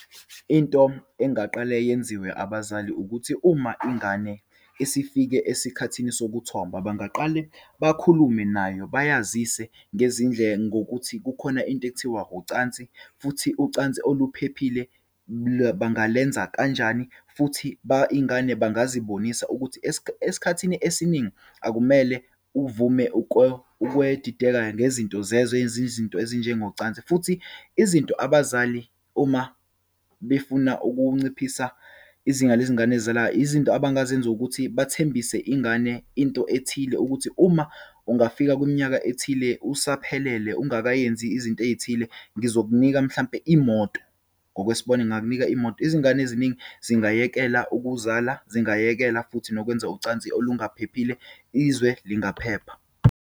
Into engaqale yenziwe abazali ukuthi, uma ingane isifike esikhathini sokuthomba. Bangaqale bakhulume nayo, bayazise ngokuthi kukhona into ekuthiwa ucansi, futhi ucansi oluphephile bangalenza kanjani. Futhi iyingane bangazibonisa ukuthi esikhathini esiningi akumele uvume ukwedideka ngezinto zezwe ezi zinto ezinjengocansi. Futhi izinto abazali, uma befuna ukunciphisa izinga lezingane ezizalayo, izinto abangazenza ukuthi, bathembise ingane into ethile, ukuthi uma ungafika kwiminyaka ethile, usaphelele, ungakayenzi izinto eyithile, ngizokunika mhlampe imoto, ngokwesibonelo, ngingakunika imoto. Izingane eziningi zingayekela ukuzala, zingayekela futhi nokwenza ucansi olungaphephile. Izwe lingaphepha.